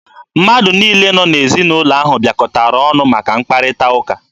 Mmadụ niile nọ n'ezinaụlọ ahụ bịakọtara ọnụ maka mkparịta ụka.